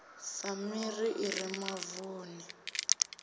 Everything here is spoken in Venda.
sa miri i re mavuni